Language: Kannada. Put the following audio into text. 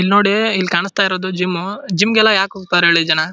ಇಲ್ನೋಡಿ ಇಲ್ ಕಾಣಿಸ್ತಾ ಇರೋದು ಜಿಮ್ ಜಿಂಗೆಲ್ಲ ಯಾಕ ಹೋಗ್ತಾರೆ ಹೇಳಿ ಜನ --